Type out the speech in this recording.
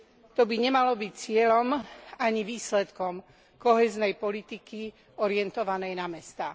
To by nemalo byť cieľom, ani výsledkom kohéznej politiky orientovanej na mestá.